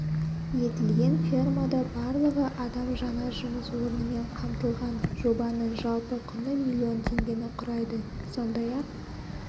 етілген фермада барлығы адам жаңа жұмыс орнымен қамтылған жобаның жалпы құны миллион теңгені құрайды сондай-ақ